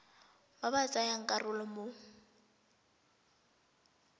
ba ba tsayang karolo mo